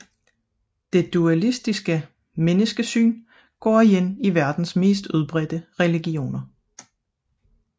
Det dualistiske menneskesyn går igen i verdens mest udbredte religioner